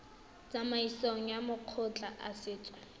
tsamaisong ya makgotla a setso